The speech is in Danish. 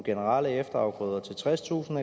marker i efteråret og såning